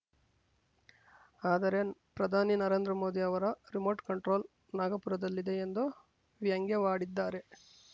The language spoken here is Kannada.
ಆದರೆ ಪ್ರಧಾನಿ ನರೇಂದ್ರ ಮೋದಿ ಅವರ ರಿಮೋಟ್ ಕಂಟ್ರೋಲ್ ನಾಗಪುರದಲ್ಲಿದೆ ಎಂದು ವ್ಯಂಗ್ಯವಾಡಿದ್ದಾರೆ